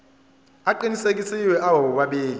aqinisekisiwe abo bobabili